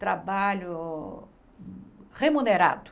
Trabalho remunerado.